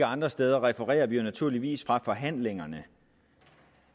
andre steder refererer vi jo naturligvis ikke fra forhandlingerne